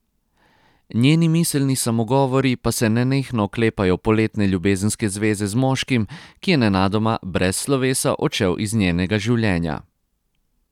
Njeni miselni samogovori pa se nenehno oklepajo poletne ljubezenske zveze z moškim, ki je nenadoma brez slovesa odšel iz njenega življenja.